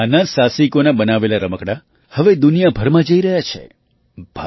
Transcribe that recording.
આ નાના સાહસિકોનાં બનાવેલાં રમકડાં હવે દુનિયાભરમાં જઈ રહ્યાં છે